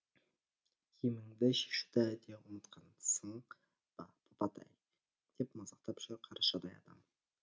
киіміңді шешуді де ұмытқансың ба папатай деп мазақтап жүр қаршадай адам